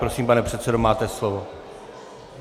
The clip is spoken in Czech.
Prosím, pane předsedo, máte slovo.